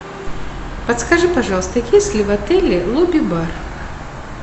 подскажи пожалуйста есть ли в отеле лобби бар